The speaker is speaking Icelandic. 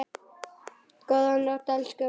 Góða nótt, elsku mamma.